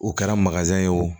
U kɛra ye o